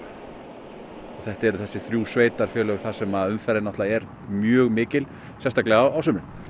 og þetta eru þessi þrjú sveitarfélög þar sem umferðin er mjög mikil sérstaklega á sumrin